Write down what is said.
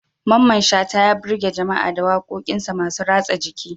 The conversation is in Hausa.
Mamman Shata, ya birge jama'a da wakokinsa masu ratsa jiki.